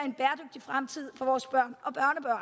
i fremtid for vores børn